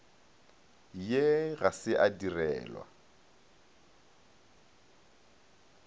ye ga se ya direlwa